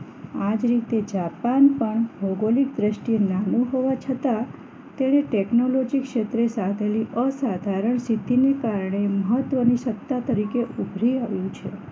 આજ રીતે જાપાન પણ ભૌગોલિક દ્રષ્ટિએ નાનું હોવા છતાં તેને ટેકનોલોજી ક્ષેત્ર સાધેલી અસાધરણ સીધી ને કારણે મહત્વની સત્તા તરીકે ઉભરી આવ્યું છે